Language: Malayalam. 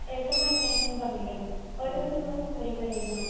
ഏട്ടൻമാരുണ്ടായിരുന്നുന്നു പറഞ്ഞില്ലേ അവരോടും നിങ്ങളോടും ഒരേപോലെ ആയിരുന്നോ